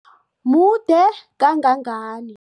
Mude kangangani?